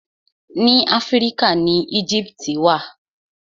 Ni Áfíríkà ni Éjíptì wà.